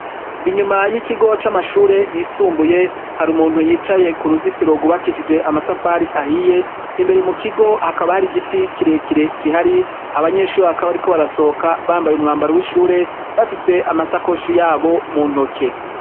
inyuma y'ikigo c'amashure yisumbuye hari umuntu yicaye ku ruzitiro rwubakishije amatafari ahiye imbere mu kigo hakaba hari giti kirekire kihari abanyeshure bakaba bariko barasohoka bambaye umwambaro w'ishure bafise amasakoshi yabo mu ntoke